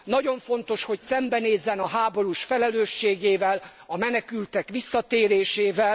Nagyon fontos, hogy szembenézzen a háborús felelősségével, a menekültek visszatérésével.